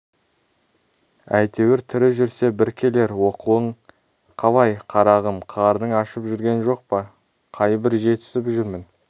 әйтеуір тірі жүрсе бір келер оқуың қалай қарағым қарның ашып жүрген жоқ па қайбір жетісіп жүрмін